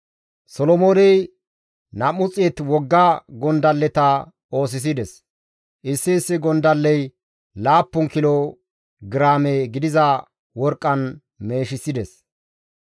Solomooney 200 wogga gondalleta oosisides; issi issi gondalley laappun kilo giraame gidiza worqqan meeshisides.